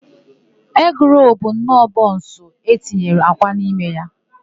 Egịrolu bụnọọ bọnsụ e tinyere akwa n'ime ya.